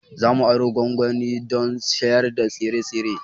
Za mu aro gwangwani don shayar da tsire-tsire.